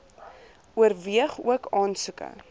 oorweeg ook aansoeke